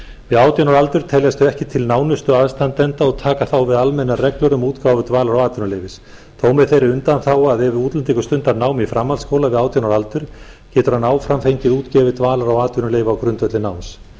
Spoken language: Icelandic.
við átján ára aldur teljast þau ekki til nánustu aðstandenda og taka þá við almennar reglur um útgáfu dvalar og atvinnuleyfis þó með þeirri undanþágu að ef útlendingur stundar nám í framhaldsskóla við átján ára aldur getur hann áfram fengið útgefin dvalar og atvinnuleyfi á grundvelli náms